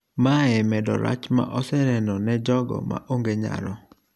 mae medo rach ma oseneno ne jogo maonge nyalo